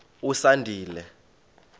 usandile